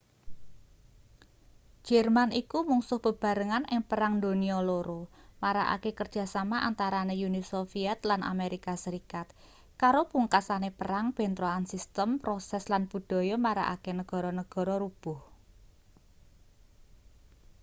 jerman iku mungsuh bebarengan ing perang donya 2 marakake kerjasama antarane uni soviet lan amerika serikat karo pungkasane perang bentrokan sistem proses lan budaya marakake negara-negara rubuh